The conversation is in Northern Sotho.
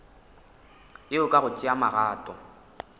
yeo ka go tšea magato